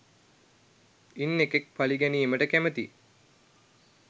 ඉන් එකෙක් පළිගැනීමට කැමති